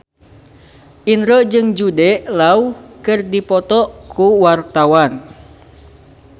Indro jeung Jude Law keur dipoto ku wartawan